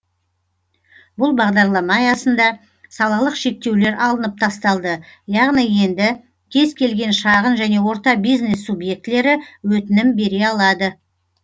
бұл бағдарлама аясында салалық шектеулер алынып тасталды яғни енді кез келген шағын және орта бизнес субъектілері өтінім бере алады